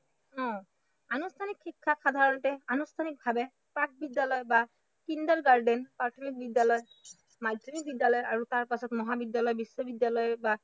উম আনুষ্ঠানিক শিক্ষাত সাধাৰণতে আনুষ্ঠানিকভাৱে প্ৰাকবিদ্য়ালয় বা কিণ্ডাৰগাৰ্টেন প্ৰাথমিক বিদ্য়ালয় মাধ্য়মিক বিদ্য়ালয় আৰু তাৰ পাছত মহাবিদ্য়ালয় বিশ্ববিদ্য়ালয় বা